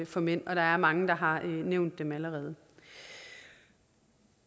for mænd og der er mange der har nævnt dem allerede